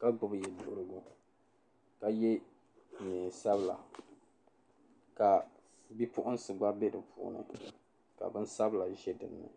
ka gbibi yɛduhirigu ka ye neen' sabila ka bipuɣinsi gba be di puuni ka binsabila za dinni.